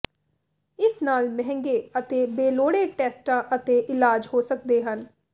ਇਸ ਨਾਲ ਮਹਿੰਗੇ ਅਤੇ ਬੇਲੋੜੇ ਟੈਸਟਾਂ ਅਤੇ ਇਲਾਜ ਹੋ ਸਕਦੇ ਹਨ